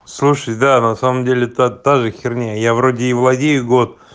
слушай да на самом деле то тоже херня я вроде и владею год